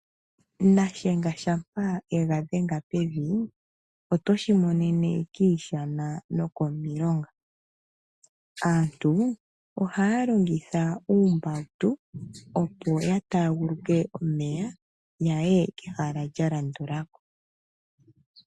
Nashenga shampa ye ga dhenga pevi oto shi monene kiishana nokomilonga. Aantu ohaya longitha uumbautu, opo ya taaguluke omeya ya ye kehala lya landula ko.